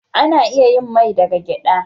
Ana iya yin mai daga gyaɗa.